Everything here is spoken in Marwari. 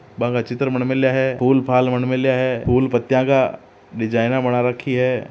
बा का चित्र बन मेला है फूल फाल बन मेला है फूल पत्तियां का डिजाइन बना रखी है।